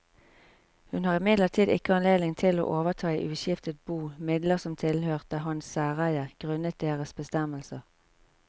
Hun har imidlertid ikke anledning til å overta i uskiftet bo midler som tilhørte hans særeie grunnet deres bestemmelser.